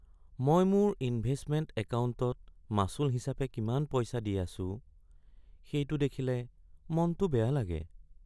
মই মোৰ ইনভেষ্টমেণ্ট একাউণ্টত মাচুল হিচাপে কিমান পইচা দি আছোঁ সেইটো দেখিলে মনটো বেয়া লাগে।